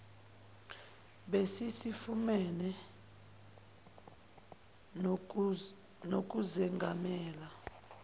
besi sifune nokuzengamela